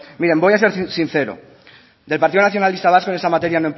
miren voy a ser sincero del partido nacionalista vasco en esta materia